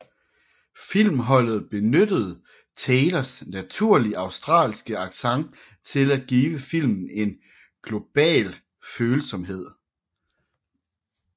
Filmholdet benyttede Taylors naturlige australske accent til at give filmen en global følsomhed